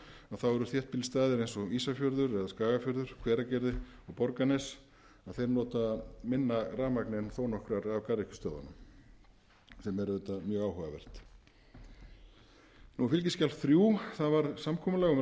þá voru þéttbýlisstaðir eins og ísafjörður eða skagafjörður hveragerði og borgarnes þeir nota minna rafmagn en þó nokkrar af garðyrkjustöðvunum sem er auðvitað mjög áhugavert fskj þrír það var samkomulag um